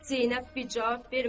Zeynəb vicab vermədi.